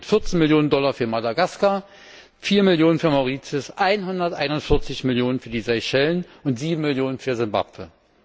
Ganz konkret 14 Millionen Dollar für Madagaskar, 4 Millionen für Mauritius, 141 Millionen für die Seychellen und 7 Millionen für Zimbabwe.